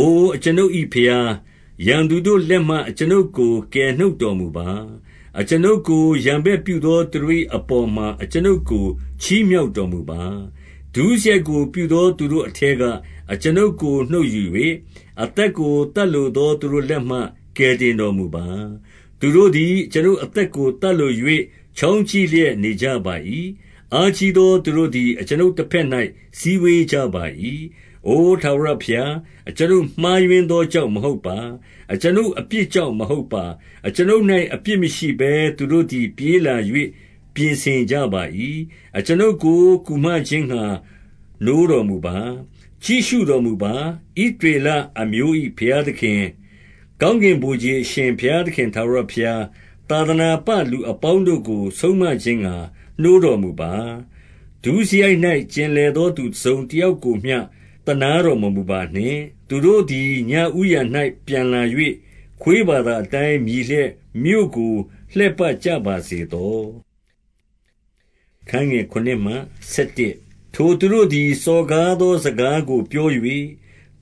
အို အကျွန်ုပ်၏ဘုရား၊ ရန်သူတို့လက်မှ အကျွန်ုပ် ကို ကယ်နှုတ်တော်မူပါ။ အကျွန်ုပ်ကို ရန်ဘက်ပြုသောသူ တို့၏ အပေါ်မှာ အကျွန်ုပ်ကို ချီးမြှောက်တော်မူပါ။ 2 ဒုစရိုက်ကို ပြုသောသူတို့အထဲက အကျွန်ုပ်ကို နှုတ်ယူ၍၊ အသက်ကိုသတ်လိုသော သူတို့လက်မှ ကယ် တင်တော်မူပါ။ 3 သူတို့သည် အကျွန်ုပ်အသက်ကို သတ်လို ၍ ချောင်းကြည့်လျက် နေကြပါ၏။ အားကြီးသောသူတို့ သည်အကျွန်ုပ်တဘက်၌ စည်းဝေးကြပါ၏။ အို ထာဝရ ဘုရား၊ အကျွန်ုပ်မှားယွင်း သောကြောင့်မဟုတ်ပါ။ အကျွန်ုပ် အပြစ်ကြောင့်မဟုတ်ပါ။ 4 အကျွန်ုပ်၌ အပြစ်မရှိဘဲ သူတို့သည် ပြေးလာ၍ ပြင်ဆင်ကြပါ၏။ အကျွန်ုပ်ကို ကူမခြင်းငှါ နိုးတော်မူပါ။ ကြည့်ရှုတော်မူပါ။ 5 ဣသရေလအမျိုး၏ ဘုရားသခင်ထာဝရဘုရား၊ သာသနာပ လူအပေါင်းတို့ကို ဆုံးမခြင်းငှါ နိုးတော်မူပါ။ ဒုစရိုက်၌ ကျင်လည်သောသူ တစုံတယောက်ကိုမျှ သနား တော်မမူပါနှင့်။ 6 သူတို့သည် ညဦးယံ၌ ပြန်လာ၍၊ ခွေးဘာသာ အတိုင်း မြည်လျက် မြို့ကိုလှည့်ပတ်ကြပါစေသော။ 7 ထိုသူတို့သည် စော်ကားသော စကားကိုပြော၍၊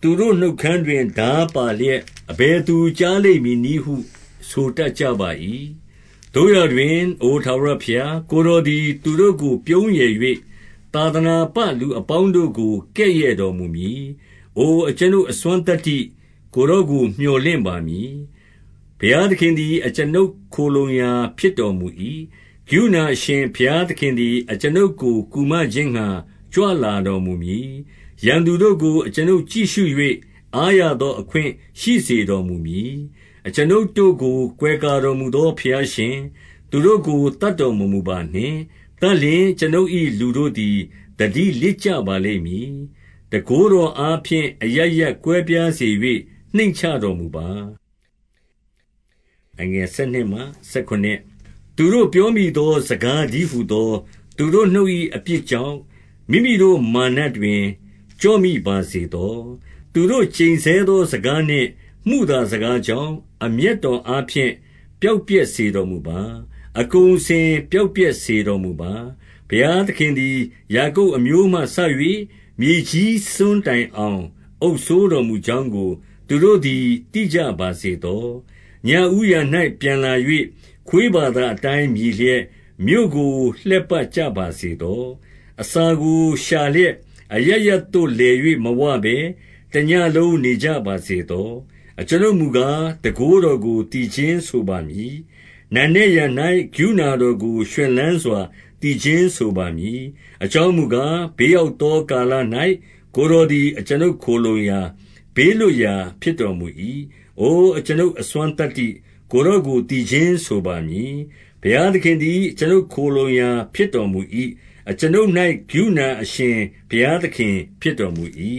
သူတို့နှုတ်ခမ်း တွင်ထားပါလျက်အဘယ်သူကြားလိမ့် မည်နည်းဟု ဆိုတတ်ကြပါ၏။ 8 သို့ရာတွင်၊ အိုထာဝရဘုရား၊ ကိုယ်တော်သည် သူတို့ကို ပြုံးရယ်၍ သာသနာပလူအပေါင်းတို့ကို ကဲ့ရဲ့တော်မူမည်။ 9 အို အကျွန်ုပ်အစွမ်းသတ္တိ၊ ကိုယ်တော်ကို မြော်လင့်ပါမည်။ ဘုရားသခင်သည် အကျွန်ုပ် ခိုလှုံရာဖြစ်တော်မူ၏။ 10 ကရုဏာအရှင် ဘုရားသခင်သည် အကျွန်ုပ်ကို ကူမခြင်းငှါ ကြွလာတော်မူမည်။ ရန်သူတို့ကို အကျွန်ုပ်ကြည့်ရှု၍ အားရသောအခွင့် ရှိစေတော်မူမည်။ 11 အကျွန်ုပ်တို့ကို ကွယ်ကာတော်မူသော ဘုရားရှင်၊ သူတို့ကို သတ်တော်မမူပါနှင့်။ သတ်လျှင် အကျွန်ုပ်၏ လူတို့သည် သတိလစ်ကြပါလိမ့်မည်။ တန်ခိုးတော်အားဖြင့် အရပ်ရပ် ကွဲပြားစေ၍ နှိမ့်ချတော်မူပါ။ 12 သူတို့ပြောမိသော စကားတည်းဟူသော သူတို့ နှုတ်၏အပြစ်ကြောင့် မိမိတို့မာနတွင် ကျော့မိပါစေ သော။ သူတို့ ကျိန်ဆဲသော စကားနှင့် မုသာစကားကြောင့်၊ 13 အမျက်တော်အားဖြင့် ပျောက်ပျက်စေတော်မူပါ။ အကုန်အစင်ပျောက်ပျက်စေတော်မူပါ။ ဘုရားသခင်သည် ယာကုပ်အမျိုးမှစ၍ မြေကြီးစွန်းတိုင်အောင် အုပ်စိုးတော်မူကြောင်းကို သူတို့သည် သိကြ ပါစေသော။ 14 ညဦးယံ၌ ပြန်လာ၍၊ ခွေးဘာသာအတိုင်း မြည်လျက် မြို့ကို လှည့်ပတ်ကြပါစေသော။ 15 အစာကို ရှာလျက် အရပ်ရပ်သို့ လည်၍မဝဘဲ တညဉ့်လုံး နေကြပါစေသော။ 16 အကျွန်ုပ်မူကား၊ တန်ခိုးတော်ကို သီချင်းဆိုပါမည်။ နံနက်ယံ၌ ကရုဏာတော်ကို ရွှင်လန်းစွာ သီချင်းဆိုပါမည်။ အကြောင်းမူကား၊ ဘေးရောက်သောကာလ၌ ကိုယ်တော်သည် အကျွန်ုပ်ခိုလှုံရာ၊ ဘေးလွတ်ရာ ဖြစ်တော်မူ၏။ 17 အိုအကျွန်ုပ်အစွမ်းသတ္တိ၊ ကိုယ်တော်ကို သီချင်းဆိုပါမည်။ ဘုရားသခင်သည် အကျွန်ုပ်ခိုလှုံရာ ဖြစ်တော်မူ၏။ အကျွန်ုပ်၌ ကရုဏာအရှင် ဘုရားသခင်ဖြစ်တော်မူ၏။